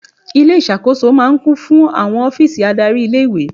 Ilé ìṣàkóso máa ń kún fún àwọn ọ́fíìsì adárí ilé-ìwé.